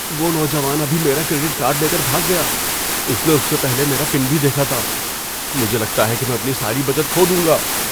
وہ نوجوان ابھی میرا کریڈٹ کارڈ لے کر بھاگ گیا۔ اس نے اس سے پہلے میرا پن بھی دیکھا تھا۔ مجھے لگتا ہے کہ میں اپنی ساری بچت کھو دوں گا۔